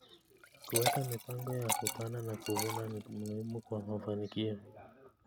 Kuweka mipango ya kupanda na kuvuna ni muhimu kwa mafanikio.